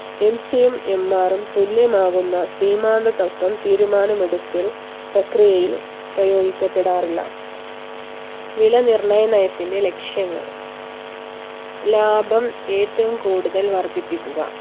MC യും MR ഉം തുല്യമാകുന്ന സീമാന്ത തത്വം തീരുമാനം എടുക്കൽ പ്രക്രിയയിൽ പ്രയോഗിക്കപ്പെടാറില്ല വില നിർണയ നയത്തിന്റെ ലക്ഷ്യങ്ങൾ ലാഭം ഏറ്റവും കൂടുതൽ വർധിപ്പിക്കുക